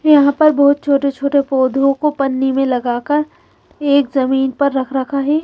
यहाँ पर बोहोत छोटे छोटे पोधोको पन्नी में लगा कर एक जमीन पे रख रखा है।